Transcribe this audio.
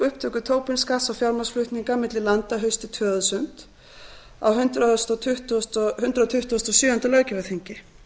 upptöku tobin skatts á fjármagnsflutninga milli landa haustið tvö þúsund á hundrað tuttugasta og sjöunda löggjafarþingi